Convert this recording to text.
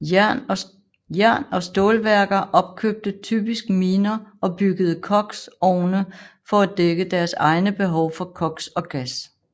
Jern og stålværker opkøbte typisk miner og byggede koks ovne for at dække deres egne behov for koks og gas